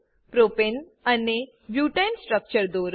પ્રોપને propane અને બુટને butane structure દોરો